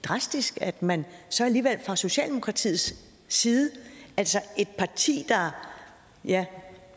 drastisk at man så alligevel fra socialdemokratiets side altså et parti der ja